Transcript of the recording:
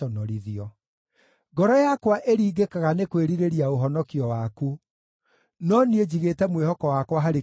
Ngoro yakwa ĩringĩkaga nĩ kwĩrirĩria ũhonokio waku, no niĩ njigĩte mwĩhoko wakwa harĩ kiugo gĩaku.